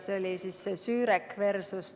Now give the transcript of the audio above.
Selleks lahendiks oli Sürek vs.